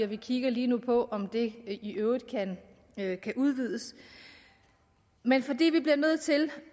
vi kigger lige nu på om det i øvrigt kan udvides men fordi vi bliver nødt til